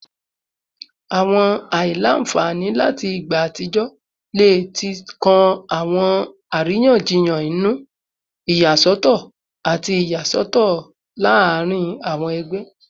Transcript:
Awọn aila-nfani lati igba atijọ le ti kan awọn ariyanjiyan inu, iyasọtọ, tabi iyasọtọ laarin awọn ẹgbẹ